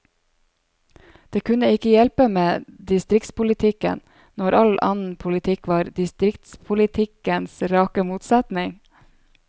Det kunne ikke hjelpe med distriktspolitikken, når all annen politikk var distriktspolitikkens rake motsetning.